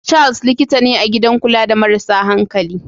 Charles likita ne a gidan kula da marasa hankali.